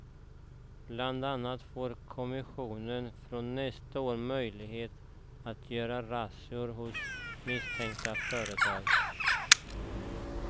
Bland annat får kommissionen från nästa år möjlighet att göra razzior hos misstänkta företag.